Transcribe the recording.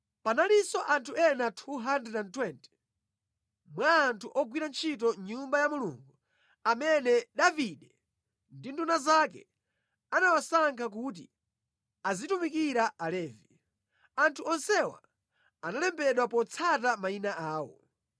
Panalinso anthu ena 220 mwa anthu ogwira ntchito mʼNyumba ya Mulungu amene Davide ndi nduna zake anawasankha kuti azitumikira Alevi. Anthu onsewa analembedwa potsata mayina awo.